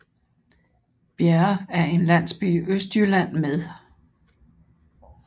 Bjerre er en landsby i Østjylland med